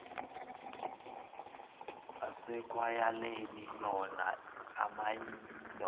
asekwayaleni wona amayilo